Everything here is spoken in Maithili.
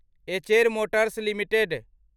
Eicher Motors limited